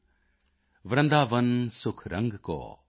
ਵਰਿੰਦਾਵਨ ਸੁਖ ਰੰਗ ਕੌ ਵਰਿੰਦਾਵਨ ਸੁਖ ਰੰਗ ਕੌ